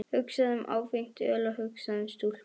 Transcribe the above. Hugsaðu um áfengt öl og hugsaðu um stúlkur!